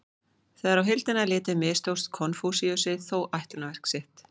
Þegar á heildina er litið mistókst Konfúsíusi þó ætlunarverk sitt.